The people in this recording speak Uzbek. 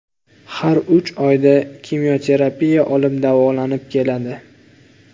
Har uch oyda kimyoterapiya olib, davolanib keladi.